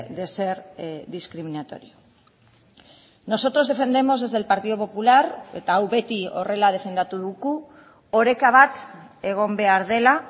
de ser discriminatorio nosotros defendemos desde el partido popular eta hau beti horrela defendatu dugu oreka bat egon behar dela